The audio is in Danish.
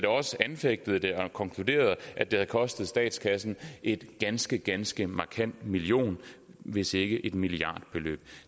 også anfægtede det og konkluderede at det havde kostet statskassen et ganske ganske markant millionbeløb hvis ikke et milliardbeløb